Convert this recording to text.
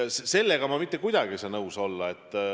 Sellega ma mitte kuidagi ei saa nõus olla.